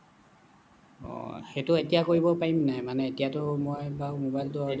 অহ সেইটো এতিয়া কৰিব পাৰিম নে নাই মানে এতিয়াটো বাৰু মই বাৰু মবাইলটো